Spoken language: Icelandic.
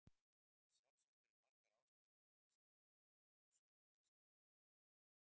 Sjálfsagt eru margar ástæður fyrir þessari miklu fjölgun snjógæsarinnar.